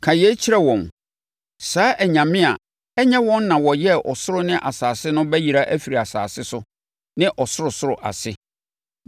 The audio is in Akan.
“Ka yei kyerɛ wɔn: ‘Saa anyame a ɛnyɛ wɔn na wɔyɛɛ ɔsoro ne asase no bɛyera afiri asase so ne ɔsorosoro ase.’ ”